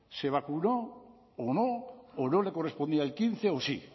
se vacunó o no o no le correspondía el quince o sí